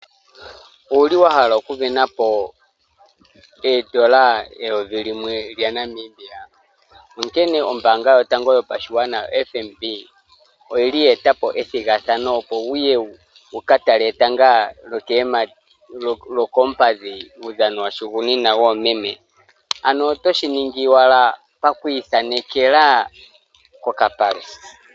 Owuli wa hala oku sindana po oondola eyovi limwe lya Namibia? Onkene ombaanga yotango yopashigwana o Fnb oyili ya etapo ethigathano opo wuye wuka tale etango lyokoompadhi uudhano wahugunina woomeme. Ano oto shi ningi owala pakwi thanekela kokapale.